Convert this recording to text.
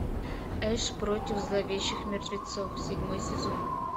эш против зловещих мертвецов седьмой сезон